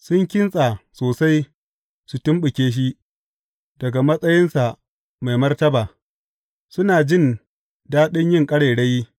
Sun kintsa sosai su tumɓuke shi daga matsayinsa mai martaba; suna jin daɗi yin ƙarairayi.